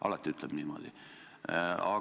Alati ütleb niimoodi!